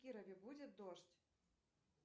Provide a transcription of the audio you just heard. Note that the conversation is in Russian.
в кирове будет дождь